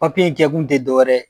Papiye in kɛ kun tɛ dɔ wɛrɛ